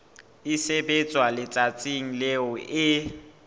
e sebetswa letsatsing leo e